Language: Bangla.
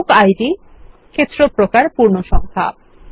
বুক ইদ ক্ষেত্র প্রকার পূর্ণসংখ্যা